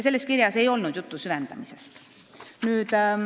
Selles kirjas ei olnud juttu süvendamisest.